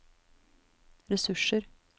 ressurser